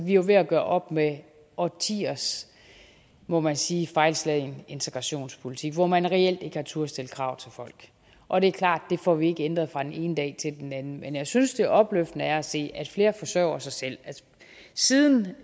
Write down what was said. jo ved at gøre op med årtiers må man sige fejlslagen integrationspolitik hvor man reelt ikke har turdet stille krav til folk og det er klart at det får vi ikke ændret fra den ene dag til den anden men jeg synes det er opløftende at se at flere forsørger sig selv siden